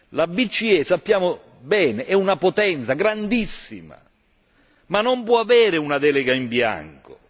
La BCE, come sappiamo bene, è una potenza grandissima, ma non può avere una delega in bianco.